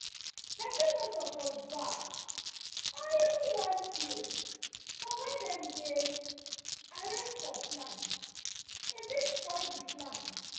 pesin no suppose baff or even wash cloth for where dem where dem arrange for plant e fit spoil di plant